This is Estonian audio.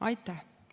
Aitäh!